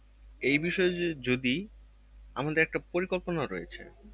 এই বিষয়ে যদি আমাদের একটা পরিকল্পনা রয়েছে।